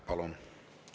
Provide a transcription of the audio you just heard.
Palun!